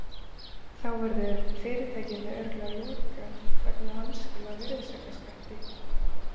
Þá verður fyrirtækinu örugglega lokað vegna vanskila á virðisaukaskatti.